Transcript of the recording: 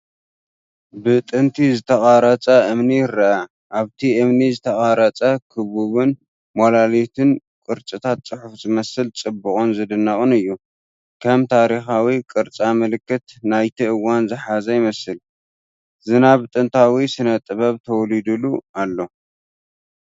ብጥንቲ ዝተቐርጸ እምኒ ይርአ፣ ኣብቲ እምኒ ዝተቐርጸ ክቡብን ሞላሊትን ቅርጽታት ፅሑፍ ዝመስል ጽቡቕን ዝድነቕን እዩ። ከም ታሪኻዊ ቅርጻ ምልክት ናይቲ እዋን ዝሓዘ ይመስል፤ ዝናብ ጥንታዊ ስነ-ጥበብ ተወሊዱሉ ኣሎ።